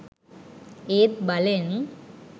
ඒත් බලෙන්